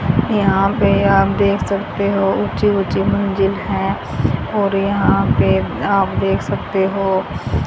यहां पे आप देख सकते हो ऊंची ऊंची मंजिल है और यहां पे आप देख सकते हो --